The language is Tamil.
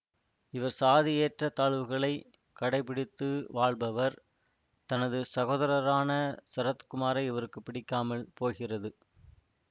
இவர் சாதி ஏற்ற தாழ்வுகளை கடைபிடித்து வாழ்பவர் தனது சகோதரரான சரத்குமாரை இவருக்கு பிடிக்காமல் போகிறது